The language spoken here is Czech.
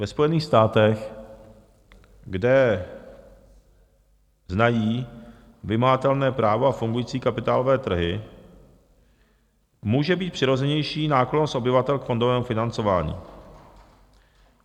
Ve Spojených státech, kde znají vymahatelné právo a fungující kapitálové trhy, může být přirozenější náklonnost obyvatel k fondovému financování.